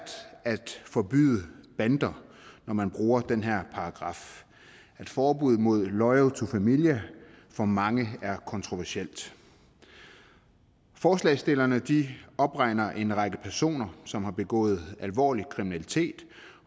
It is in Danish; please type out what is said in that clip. at forbyde bander når man bruger den her paragraf at forbuddet mod loyal to familia for mange er kontroversielt forslagsstillerne opregner en række personer som har begået alvorlig kriminalitet